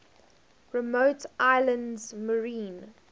remote islands marine